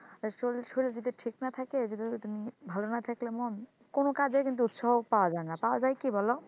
আর শরীর, শরীর যদি ঠিক না থাকে যদি ওই তো ভালো না থাকলে মন কোন কাজে কিন্তু উৎসাহ পাওয়া যায় না পাওয়া যায় কি বল?